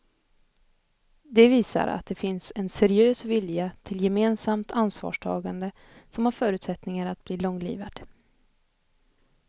Det visar att det finns en seriös vilja till gemensamt ansvarstagande som har förutsättningar att bli långlivad.